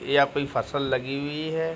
यहाँ कोई फसल लगी हुई है।